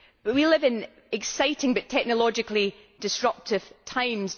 We live in exciting but technologically disruptive times.